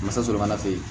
Masa sɔrɔ kana f'e ye